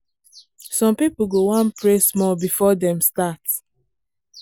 some people go wan pray small before dem start.